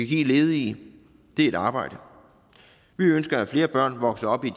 give ledige er et arbejde vi ønsker at flere børn vokser op i